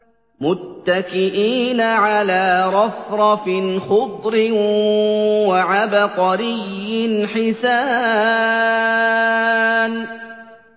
مُتَّكِئِينَ عَلَىٰ رَفْرَفٍ خُضْرٍ وَعَبْقَرِيٍّ حِسَانٍ